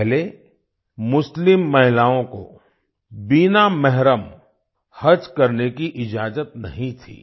पहले मुस्लिम महिलाओं को बिना मेहरम हज करने की इजाजत नहीं थी